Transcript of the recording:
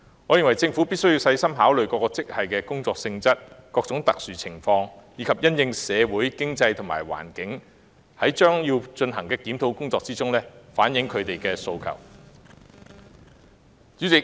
我認為，政府必須細心考慮各個職系的工作性質、社會和經濟環境，以及因應各種特殊情況，在將要進行的檢討工作中，反映他們的訴求。